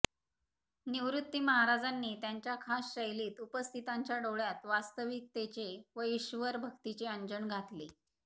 निवृत्ती महाराजांनी त्यांच्या खास शैलीत उपस्थितांच्या डोळ्यात वास्तविकतेचे व ईश्वर भक्तीचे अंजन घातले